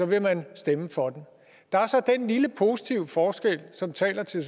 vil man stemme for den der er så den lille positive forskel som taler til